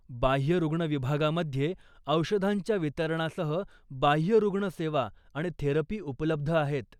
बाह्यरुग्ण विभागामध्ये औषधांच्या वितरणासह बाह्यरुग्ण सेवा आणि थेरपी उपलब्ध आहेत.